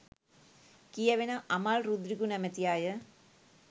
කියැවෙන අමල් රුද්‍රිගු නමැති අය